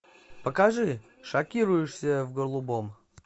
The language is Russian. покажи шокирующие в голубом